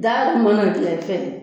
Da dun mana gilan i fɛ